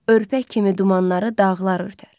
Örpək kimi dumanları dağlar örtər.